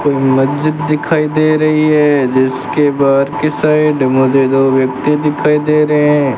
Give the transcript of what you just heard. कोई मस्जिद दिखाई दे रही है जिसके बाहर की साइड मुझे दो व्यक्ति दिखाई दे रहे हैं।